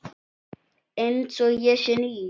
Einsog ég sé ný.